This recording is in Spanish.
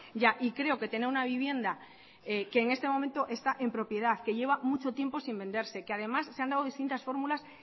ya y creo que tener una vivienda que en este momento está en propiedad que lleva mucho tiempo sin venderse que además se han dado distintas fórmulas